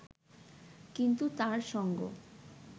কিন্তু তাঁর সঙ্গ